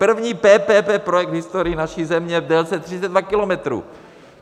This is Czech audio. První PPP projekt v historii naší země v délce 32 kilometrů!